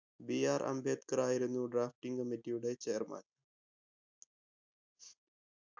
BR Ambedkar ആയിരുന്നു drafting committee യുടെ chairman